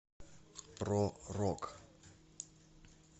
про рок